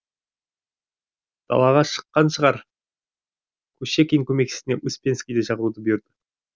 далаға шыққан шығар кушекин көмекшісіне успенскийді шақыруды бұйырды